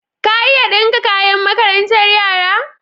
Ka iya ɗinka kayan makarantar yara?